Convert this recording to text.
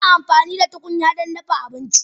Ana amfani da tukunya don dafa abinci.